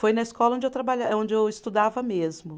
Foi na escola onde eu trabalha, onde eu estudava mesmo.